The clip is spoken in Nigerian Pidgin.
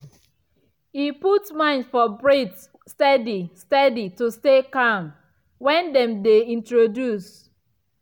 e put mind for breathe steady steady to stay calm when dem dey introduce.